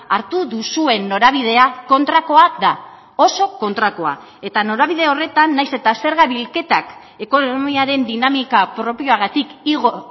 hartu duzuen norabidea kontrakoa da oso kontrakoa eta norabide horretan nahiz eta zerga bilketak ekonomiaren dinamika propioagatik igo